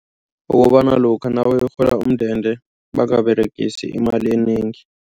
Ukobana lokha nabayokurhola umndende bangaberegisi imali enengi.